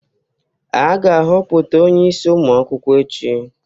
A ga-ahọpụta onye isi ụmụ akwụkwọ echi